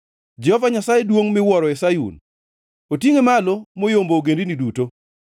Jehova Nyasaye duongʼ miwuoro e Sayun; otingʼe malo moyombo ogendini duto.